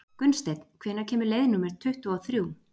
Gunnsteinn, hvenær kemur leið númer tuttugu og þrjú?